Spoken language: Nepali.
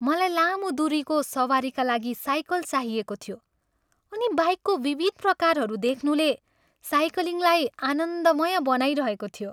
मलाई लामो दुरीको सवारीका लागि साइकल चाहिएको थियो अनि बाइकको विविध प्रकारहरू देख्नुले साइक्लिङलाई आनन्दमय बनाइरहेको थियो।